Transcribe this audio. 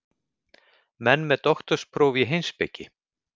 Menn með doktorspróf í heimspeki?